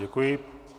Děkuji.